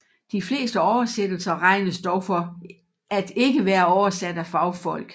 De fleste oversættelser regnes dog for at ikke være oversat af fagfolk